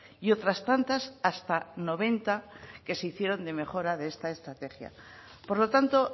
y otras tantas hasta noventa que se hicieron de mejora de esta estrategia por lo tanto